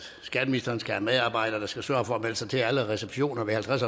skatteministeren skal have medarbejdere der skal sørge for at melde sig til alle receptioner ved halvtreds